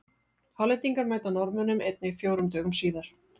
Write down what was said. Hollendingar mæta Norðmönnum einnig fjórum dögum síðar.